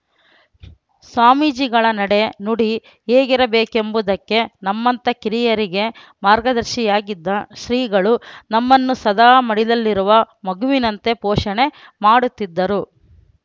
ಸ್ವಾಮೀಜಿಗಳ ನಡೆ ನುಡಿ ಹೇಗಿರಬೇಕೆಂಬುದಕ್ಕೆ ನಮ್ಮಂತ ಕಿರಿಯರಿಗೆ ಮಾರ್ಗದರ್ಶಿಯಾಗಿದ್ದ ಶ್ರೀಗಳು ನಮ್ಮನ್ನು ಸದಾ ಮಡಿಲಲ್ಲಿರುವ ಮಗುವಿನಂತೆ ಪೋಷಣೆ ಮಾಡುತ್ತಿದ್ದರು